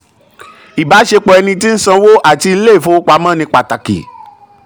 ìbáṣepọ̀ ẹni tí ń sanwó àti ilé ìfowopamọ́ ni pàtàkì.